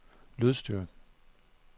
lydstyrke